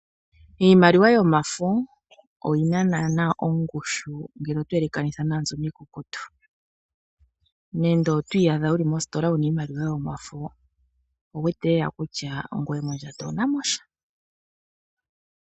Iimaliwa yomafo oyi na naana ongushu ngele oto yelekanitha naa mbyono iikukutu. Nenge oto iyadha wu li mositola wu na iimaliwa yomafo, owu wete lela kutya ngoye mondjato owu na mo sha.